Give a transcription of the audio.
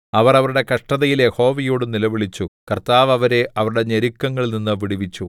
അവർ അവരുടെ കഷ്ടതയിൽ യഹോവയോട് നിലവിളിച്ചു കർത്താവ് അവരെ അവരുടെ ഞെരുക്കങ്ങളിൽനിന്ന് വിടുവിച്ചു